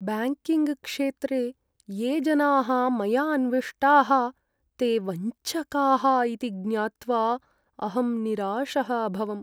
Banking क्षेत्रे ये जनाः मया अन्विष्टाः ते वञ्चकाः इति ज्ञात्वा अहं निराशः अभवम्।